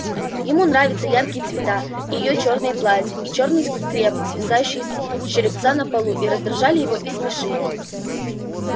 ему нравится яркие цвета и её чёрные платья и чёрный скреп свисавший с черепца на полу и раздражали его и смешили